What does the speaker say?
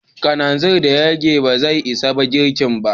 Kananzir da ya rage ba zai isa girkin ba.